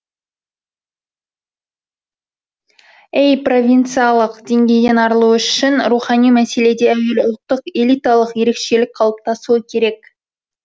әй провинцалық деңгейден арылу үшін рухани мәселеде әуелі ұлттық элиталық ерекшелік қалыптасуы керек